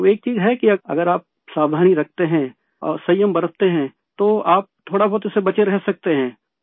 تو ایک چیز ہے کہ، اگر آپ احتیاط برتتے ہیں اور حوصلہ رکھتے ہیں تو آپ تھوڑا بہت اس سے بچے رہ سکتے ہیں